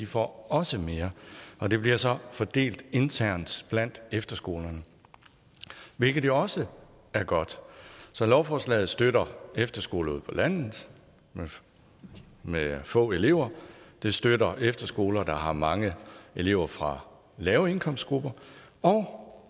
får også mere og det bliver så fordelt internt blandt efterskolerne hvilket jo også er godt så lovforslaget støtter efterskoler ude på landet med få elever og det støtter efterskoler der har mange elever fra lave indkomstgrupper